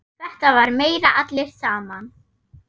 Þetta var meira allir saman.